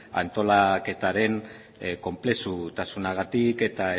antolaketaren konplexutasunagatik eta